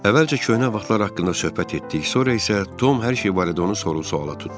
Əvvəlcə köhnə vaxtlar haqqında söhbət etdik, sonra isə Tom hər şey barədə onu soru-sualla tutdu.